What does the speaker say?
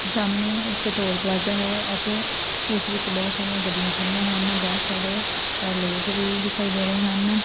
ਸਾਹਮਣੇ ਇੱਕ toll plaza ਹੈ ਅਤੇ ਉਸ ਵਿੱਚ ਬਹੁਤ ਸਾਰੀਆਂ ਗੱਡੀਆਂ ਖੜੀਆਂ ਹਨ ਬਹੁਤ ਸਾਰੇ ਲੋਕ ਵੀ ਦਿਖਾਈ ਦੇ ਰਹੇ ਹਨ।